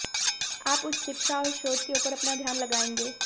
आप उच्च शिक्षा और शोध के ऊपर अपना ध्यान लगाएंगे